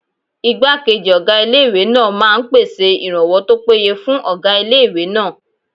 Ìgbákejì ọgá ilé-ìwé náà máa n pèsè ìrànwọ́ tó péye fún ọgá ilé-ìwé náà